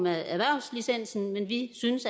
af erhvervslicensen men vi synes